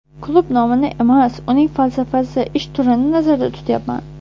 Klub nomini emas, uning falsafasi, ish turini nazarda tutyapman.